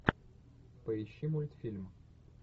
поищи мультфильм